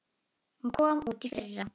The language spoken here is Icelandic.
Hún kom út í fyrra.